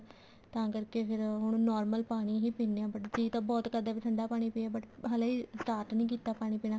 ਤਾਂ ਕਰਕੇ ਫ਼ੇਰ ਹੁਣ normal ਪਾਣੀ ਹੀ ਪੀਨੇ ਹਾਂ but ਜੀ ਤਾਂ ਬਹੁਤ ਕਰਦਾ ਵੀ ਠੰਡਾ ਪਾਣੀ ਪੀ ਹਲੇ start ਨੀ ਕੀਤਾ ਪਾਣੀ ਪੀਣਾ